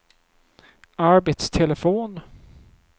arbetstelefon